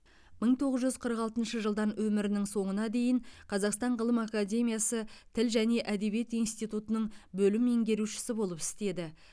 мың тоғыз жүз қырық алтыншы жылдан өмірінің соңына дейін қазақстан ғылым академиясы тіл және әдебиет институтының бөлім меңгерушісі болып істеді